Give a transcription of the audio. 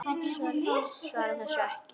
Svaraði þessu ekki.